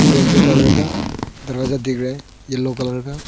brinjal colour का दरवाजा दिख रहा है येलो कलर का--